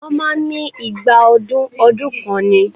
Wọ́n máa ń ní igba ọdún ọdún kan ni